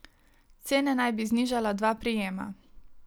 Cene naj bi znižala dva prijema.